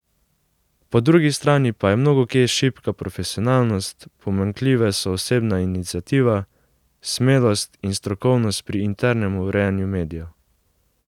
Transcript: Po drugi strani pa je mnogokje šibka profesionalnost, pomanjkljive so osebna iniciativa, smelost in strokovnost pri internem urejanju medijev.